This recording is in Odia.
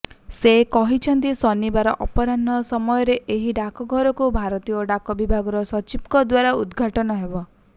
ସେ କହିଛନ୍ତି ଶନିବାର ଅପରାହ୍ଣ ସମୟରେ ଏହି ଡାକଘରକୁ ଭାରତୀୟ ଡାକ ବିଭାଗର ସଚିବଙ୍କ ଦ୍ବାରା ଉଦ୍ଘାଟନ ହେବ